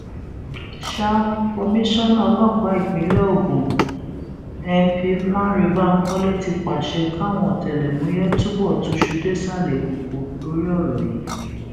sa komisanna ọlọpàá ìpínlẹ ogun np lánrẹ bankole ti pàṣẹ káwọn ọtẹlẹmúyẹ túbọ túṣu désàlẹ ìkòkò lórí ọrọ yìí